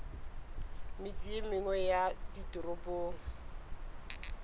metse ye mengwe ya ditoropong